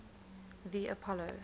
the apollo